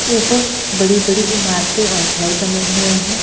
उपर बड़ी-बड़ी इमारते और घर बने हुए है।